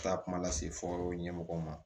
Taa kuma lase fɔ ɲɛmɔgɔw ma